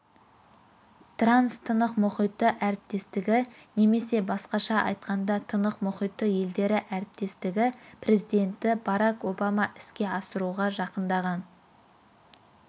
транс-тынық мұхиты әріптестігі немесе басқаша айтқанда тынық мұхиты елдері әріптестігі президенті барак обама іске асыруға жақындаған